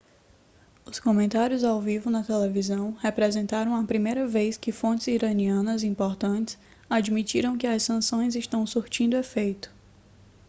os comentários ao vivo na televisão representaram a primeira vez que fontes iranianas importantes admitiram que as sanções estão surtindo efeito